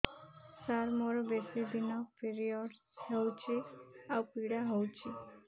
ସାର ମୋର ବେଶୀ ଦିନ ପିରୀଅଡ଼ସ ହଉଚି ଆଉ ପୀଡା ହଉଚି